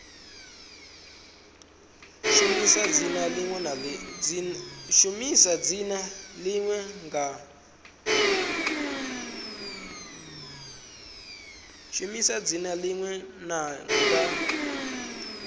shumisa dzina ḽine ḽa nga